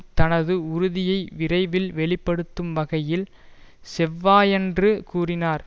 தனது உறுதியை விரைவில் வெளி படுத்தும் வகையில் செவ்வாயன்று கூறினார்